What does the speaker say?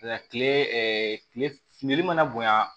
Nka kile kile fili mana bonya